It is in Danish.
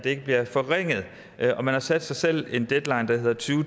ikke bliver forringet og man har sat sig selv en deadline der hedder to